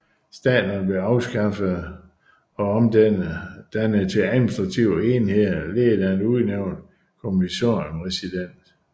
Staterne blev afskaffede og omdennede til administrative enheder ledet af en udnævnt commissioner resident